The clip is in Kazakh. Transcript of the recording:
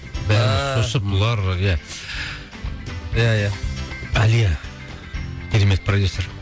ааа бұлар иә иә иә алия керемет продюссер